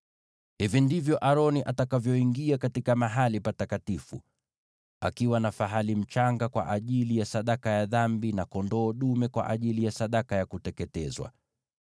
“Hivi ndivyo Aroni atakavyoingia katika mahali patakatifu: atachukua fahali mchanga kwa ajili ya sadaka ya dhambi, na kondoo dume kwa ajili ya sadaka ya kuteketezwa.